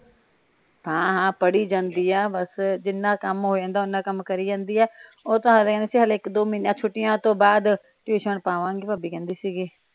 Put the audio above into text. ਹਾਂ ਹਾਂ ਪੜੀ ਜਾਂਦੀ ਏ ਬਸ ਜਿਨ੍ਹਾਂ ਕੰਮ ਹੋ ਜਾਂਦਾ ਓਹਨਾ ਕੰਮ ਕਰੀ ਜਾਂਦੀ ਏ ਉਹ ਤਾ ਚ ਹਲੇ ਇਕ ਦੋ ਮਹੀਨੇ ਛੁੱਟੀਆਂ ਤੋਂ ਬਾਅਦ ਟਇਓਸਨ ਪਾਵਾਗੇ ਭਾਬੀ ਕਹਿੰਦੀ ਸੀ।